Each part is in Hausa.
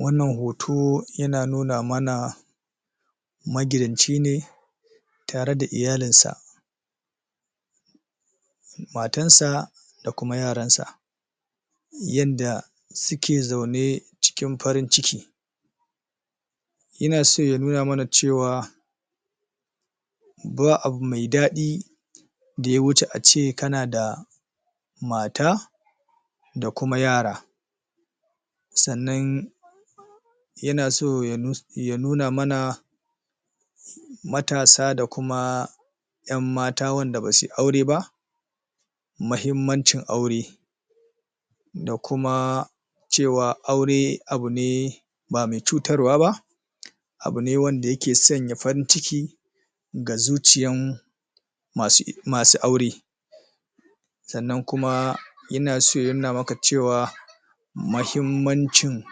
wannan hoto yana nuna mana magidanci ne tare da iyalinsa matansa da kuma yaransa yadda suke zaune cikin farin ciki yana so ya nuna mana cewa ba abu mai dadi da yawuce ace kana da mata da kuma yara sannan yan so ya nuna mana matasa da kuma yan mata wayanda basuyi aure ba muhimmancin aure da kuma cewa aure abune ba mai cutarwa ba abune wanda yake sanya farinciki ga zuciyan samu aure sannan kuma yana so ya nuna maka cewa muhimmancin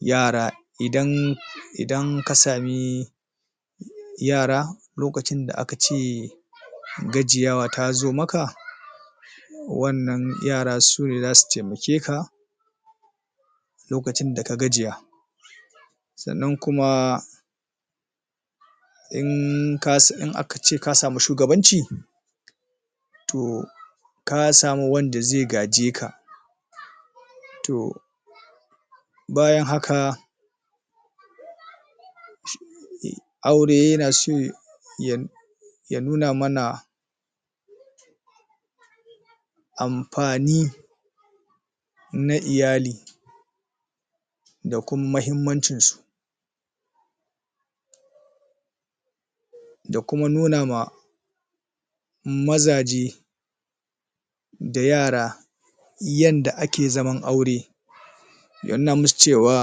yara idan idan kasami yara lokacin da akace gajiya tazo maka wannan yara sune zasu temakeka lokacin da ka gajiya sannan kuma in aka ce kasamu shugabanci to kasami wanda zai gajeka to bayan haka aure yana so? ya nuna mana amfani na iyali da kuma muhimmancin su da kuma nun ma mazaje da yara yanda ake zaman aure ya nuna musu cewa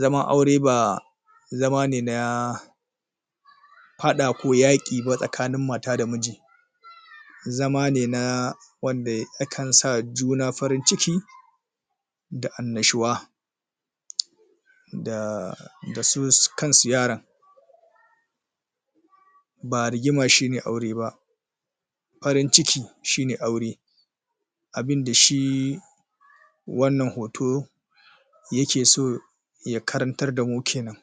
zaman aure ba zama ne na fada ko yaki ba tsakanin mata da miji zama ne na wanda yakan sa juna farin ciki da annashuwa da su kansu yaran ba rigima shine aure ba farin ciki shine aure abinda shi wannan hoto yake so ya karantar da mu kenan